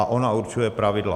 A ona určuje pravidla.